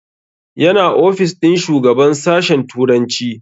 Yana ofis ɗin shugaban sashen turanci